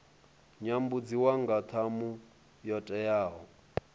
nyambudziwa nga ṱhamu yo teaho